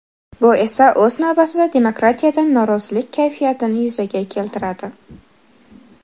Bu esa o‘z navbatida demokratiyadan norozilik kayfiyatini yuzaga keltiradi.